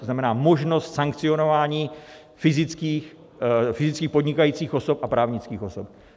To znamená, možnost sankcionování fyzických podnikajících osob a právnických osob.